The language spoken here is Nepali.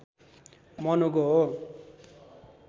मनुको हो